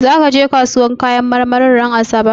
Zaka je kasuwar kayan marmarin ranar asabar?